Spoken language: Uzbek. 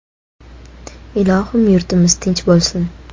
Ilohim yurtimiz tinch bo‘lsin!